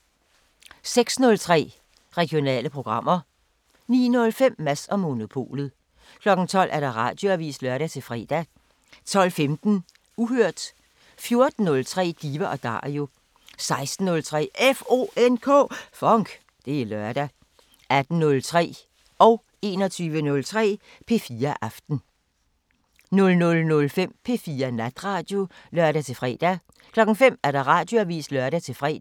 06:03: Regionale programmer 09:05: Mads & Monopolet 12:00: Radioavisen (lør-fre) 12:15: Uhørt 14:03: Diva & Dario 16:03: FONK! Det er lørdag 18:03: P4 Aften (lør-søn) 21:03: P4 Aften (lør-fre) 00:05: P4 Natradio (lør-fre) 05:00: Radioavisen (lør-fre)